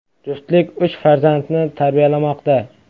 Juftlik uch farzandni tarbiyalamoqda.